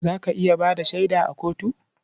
Za ka iya ba da shaida a kotu?